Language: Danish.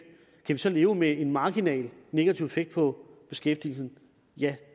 kan leve med en marginal negativ effekt på beskæftigelsen ja